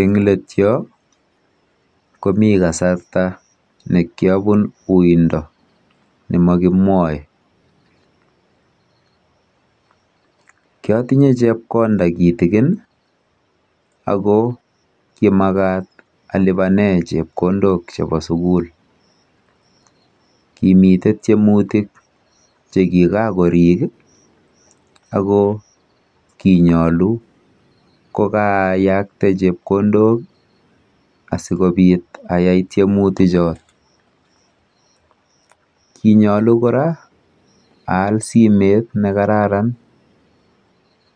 Eng' let yo komi kasarta ne kiapun uindo ne ma kimwae. Ki atinye chepkonda kitikin ako kimakat alipane chepkondok chepo sukul. Kimite tiemutik che kikakorik ako kinyalu ko kaayakte chepkondok asikopit ayai tiemutichot. Ki nyalu kora aal simet ne kararan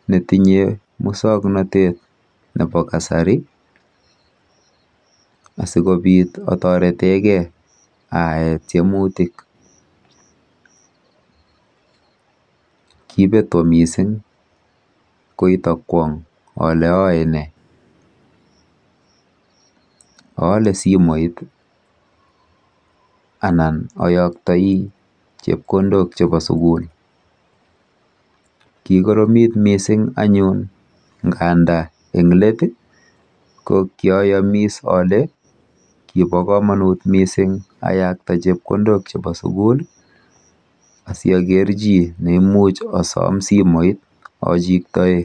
ne tinye muswoknotet ap kasari asikopit ataretegei ayae tiemutik. Kipeto missing' koita kwang' kole aae ne. Aale simet i anan ayaktai chepkondok chepo sukul. Kikoromit kot missing' nganda eng' let ko kiayamiss ale kipa kamanut missing' ayakta chepkondok chepo sukul asiaker chi ne imuch asam simoit achiktae.